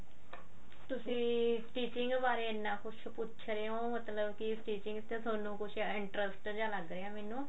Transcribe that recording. ਤੁਸੀਂ stitching ਬਾਰੇ ਇੰਨਾ ਕੁੱਝ ਪੁੱਕਛ ਰਹੇ ਓ ਮਤਲਬ stitching ਤੇ ਤੁਹਾਨੁਕੁੱਝ interest ਜਾ ਲੱਗ ਰਿਹਾ ਮੈਨੂੰ